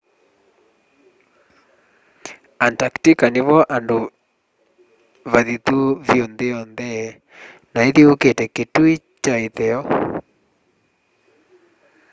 antarctica nivo vandu vathithu vyu nthi yonthe na ithyuukite kitui kya itheo